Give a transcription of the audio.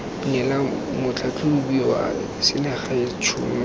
neela motlhatlhobi wa selegae tšhono